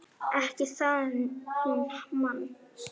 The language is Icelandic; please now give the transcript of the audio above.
Ekki það hún man.